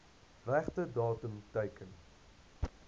regte datum teken